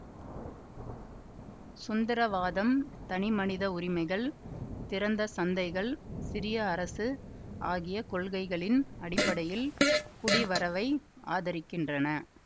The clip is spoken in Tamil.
சுந்திரவாதம் தனிமனித உரிமைகள் திறந்த சந்தைகள் சிறிய அரசு ஆகிய கொள்கைகளின் அடிப்படையில் குடிவரவை ஆதரிக்கின்றன